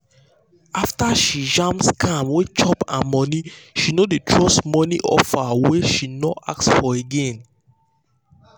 after she jam scam wey chop her money she no dey trust money offer wey she no ask for again.